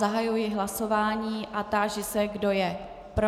Zahajuji hlasování a táži se, kdo je pro.